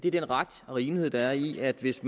er den ret og rimelighed der er i at hvis